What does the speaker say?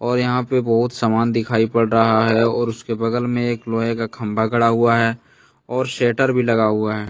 और यहां पे बहुत सामान दिखाई पड़ रहा हैं और उसके बगल में एक लोहे का खंबा गढ़ा हुआ है और शेटर भी लगा हुआ हैं।